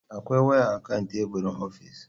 Akwai waya akan teburin ofis.